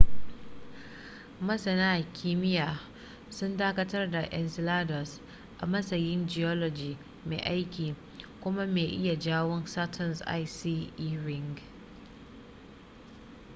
masana kimiya sun dakatar da enceladus a matsayin geology mai aiki kuma mai iya jawo saturn's icy e ring